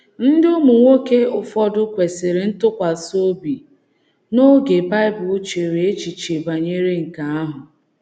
Ndị ụmụnwoke ụfọdụ kwesịrị ntụkwasị obi n’oge Bible chere echiche banyere nke ahụ.